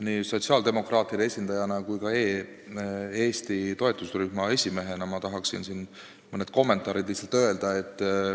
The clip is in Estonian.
Nii sotsiaaldemokraatide esindajana kui ka e-Eesti toetusrühma esimehena tahaksin lihtsalt mõne kommentaari öelda.